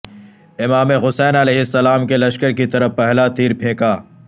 امام حسین علیہ السلام کے لشکر کی طرف پہلا تیر پھینکا